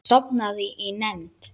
Sofnaði í nefnd.